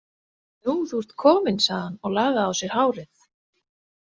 Nú, þú ert komin, sagði hann og lagaði á sér hárið.